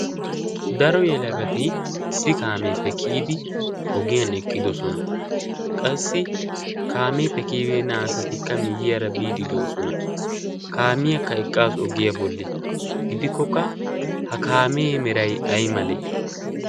daro yelagati issi kaameeppekiyidi ogiyan eqqidosona. qassi kaameeppe kiibeenna asatikka miyyiyaara biidi do'osona kaamiyaakka eqqaassu oggiyaa bolli gidikkokka ha kaamee meray ay malee?